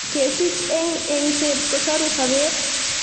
kesich eng engset kosoru sobet.